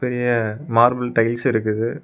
ரிய மார்பில் டைல்ஸ் இருக்குது.